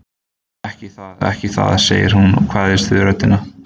Ekki það, ekki það, segir hún og kveðst á við röddina.